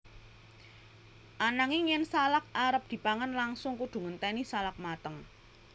Ananging yen salak arep dipangan langsung kudu ngenténi salak mateng